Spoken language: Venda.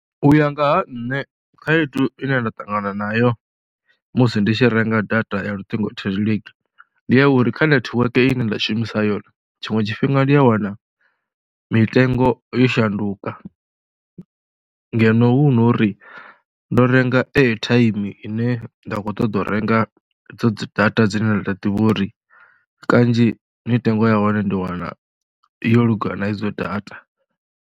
U ya nga ha nṋe khaedu ine nda ṱangana nayo musi ndi tshi renga data ya luṱingo thendeleki ndi ya uri kha nethiweke ine nda shumisa yone tshiṅwe tshifhinga ndi a wana mitengo yo shanduka ngeno hu no uri ndo renga airtime ine nda kho ṱoḓa u renga idzo data dzine nda ḓivha uri kanzhi mitengo ya hone ndi wana yo lugela na idzo data.